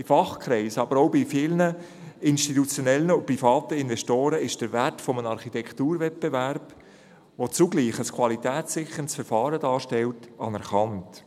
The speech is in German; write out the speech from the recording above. In Fachkreisen, aber auch bei vielen institutionellen und privaten Investoren ist der Wert eines Architekturwettbewerbs, der zugleich ein qualitätssicherndes Verfahren darstellt, anerkannt.